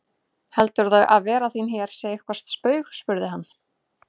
Heldurðu að vera þín hér sé eitthvert spaug spurði hann.